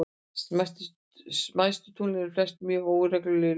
Smæstu tunglin eru flest mjög óregluleg í lögun.